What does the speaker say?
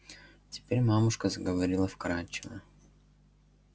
теперь мамушка заговорила вкрадчиво